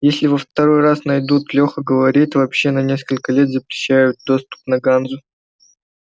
если во второй раз найдут леха говорит вообще на несколько лет запрещают доступ на ганзу